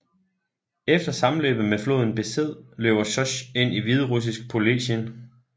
Efter sammenløbet med floden Besed løber Sosj ind i hviderussisk polesien